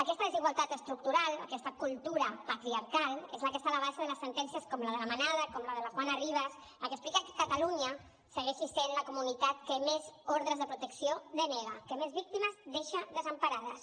aquesta desigualtat estructural aquesta cultura patriarcal és la que està a la base de les sentències com la de la manada com la de la juana rivas la que explica que catalunya segueixi sent la comunitat que més ordres de protecció denega que més víctimes deixa desemparades